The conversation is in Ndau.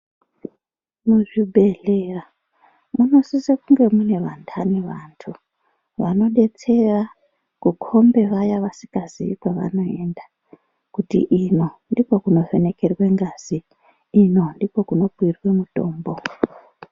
Muzvibhedhlera munosisa kunge mune vantani vantu vanodetsera kukhombe vaya vasingazivi kwavanoenda kuti ino ndiko kunovhenekerwe ngazi ino ndiko kunopuirwe mitombo.